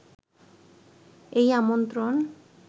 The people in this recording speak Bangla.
এই আমন্ত্রণ